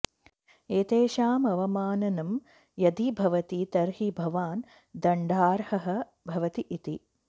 एतेषाम् अवमाननं यदि भवति तर्हि भवान् दण्डार्हः भवति इति